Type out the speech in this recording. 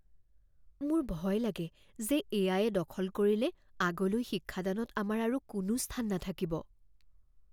মোৰ ভয় লাগে যে এ.আই.য়ে দখল কৰিলে আগলৈ শিক্ষাদানত আমাৰ আৰু কোনো স্থান নাথাকিব।